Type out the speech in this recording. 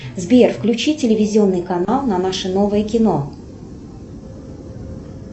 сбер включи телевизионный канал на наше новое кино